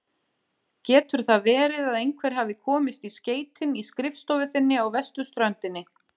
Getur það verið að einhver hafi komist í skeytin í skrifstofu þinni á vesturströndinni?